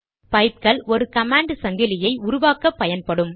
பைப்கள் ஒரு கமாண்ட் சங்கிலியை உருவாக்கப்பயன்படும்